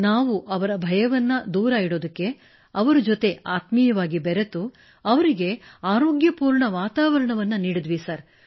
ನಾವು ಅವರ ಭಯವನ್ನು ದೂರವಿಡಲು ಅವರೊಂದಿಗೆ ಆತ್ಮೀಯವಾಗಿ ಬೆರೆತು ಅವರಿಗೆ ಆರೋಗ್ಯಪೂರ್ಣ ವಾತಾವರಣ ನೀಡಿದೆವು ಸರ್